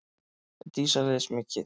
Dísa les mikið.